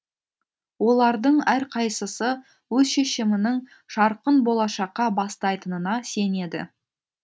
олардың әрқайсысы өз шешімінің жарқын болашаққа бастайтынына сенеді